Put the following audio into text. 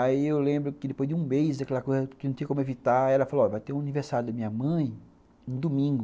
Aí eu lembro que depois de um mês, aquela coisa que não tinha como evitar, ela falou, ó, vai ter o aniversário da minha mãe no domingo.